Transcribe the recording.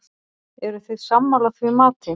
Eruð þið sammála því mati?